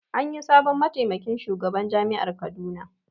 Anyi sabon mataimakin shugaban jami'ar Kaduna